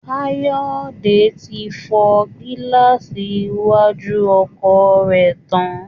Káyọ̀dé ti fọ gíláàsì iwájú ọkọ̀ rẹ̀ tán